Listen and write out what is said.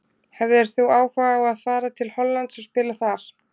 Hefðir þú áhuga á að fara til Hollands og spila þar?